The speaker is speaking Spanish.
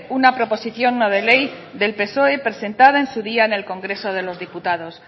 una proposición no de ley del psoe presentada en su día en el congreso de los diputados